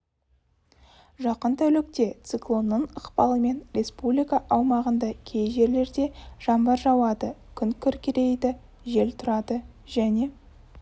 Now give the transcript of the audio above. жақын тәулікте циклонның ықпалымен республика аумағында кей жерлерде жаңбыр жауады күн күркірейді жел тұрады және